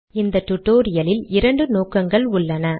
இந்த டுடோரியலில் இரண்டு நோக்கங்கள் உள்ளன